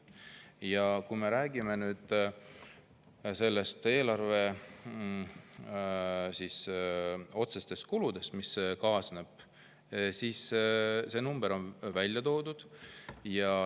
Ja kui me räägime otsesest eelarvekulust, mis kaasneb, siis see number on välja toodud.